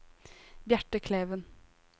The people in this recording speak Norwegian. Bjarte Kleven